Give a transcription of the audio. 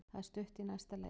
Það er stutt í næsta leik.